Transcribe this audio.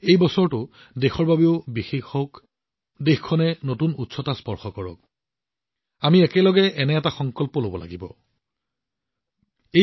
এই বছৰটো দেশৰ বাবেও বিশেষ হওক দেশখনে নতুন উচ্চতা স্পৰ্শ কৰক আৰু একেলগে আমি এটা সংকল্প গ্ৰহণ কৰিব লাগিব আৰু ইয়াক বাস্তৱায়িতও কৰিব লাগিব